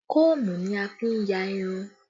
Kóòmù ni a fi n ya irun